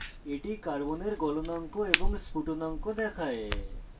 এই tab carbon carbon এর গলনাঙ্ক এবং স্ফুটনাঙ্ক প্রদর্শন করে